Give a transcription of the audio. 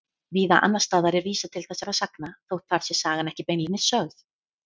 Víða annars staðar er vísað til þessara sagna þótt þar sé sagan ekki beinlínis sögð.